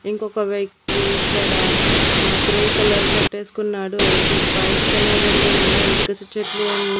ఇంకొక వ్యక్తి ఇక్కడ ఆ గ్రే కలర్ షర్ట్ వేసుకున్నాడు టు బైక్స్ అనేవి రెండు ఉన్నాయి .